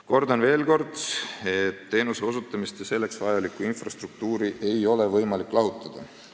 " Kordan veel kord, et teenuste osutamist ja selleks vajalikku infrastruktuuri ei ole võimalik lahutada.